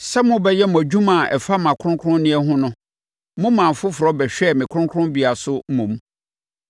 Sɛ mobɛyɛ mo adwuma a ɛfa mʼakronkronneɛ ho no, mo maa afoforɔ bɛhwɛɛ me kronkronbea so mmom.